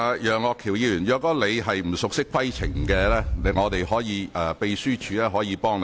楊岳橋議員，如果你不熟悉規程，秘書處可以提供協助。